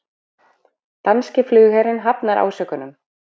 Danski flugherinn hafnar ásökunum